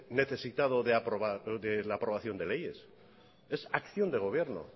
necesitado de la aprobación de leyes es acción de gobierno